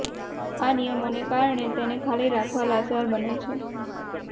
આ નિયમોને કારણે તેને ખાલી રાખવા લાચાર બને છે